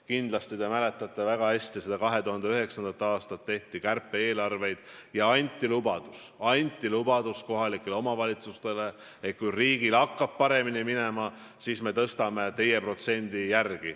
Kindlasti te mäletate väga hästi seda 2009. aastat, kui tehti kärpe-eelarveid ja anti kohalikele omavalitsustele lubadus, et kui riigil hakkab paremini minema, siis me taastame selle protsendi.